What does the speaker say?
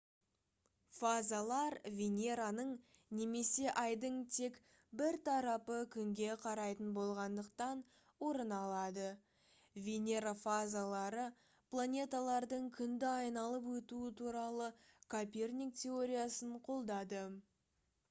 фазалар венераның немесе айдың тек бір тарапы күнге қарайтын болғандықтан орын алады. венера фазалары планеталардың күнді айналып өтуі туралы коперник теориясын қолдады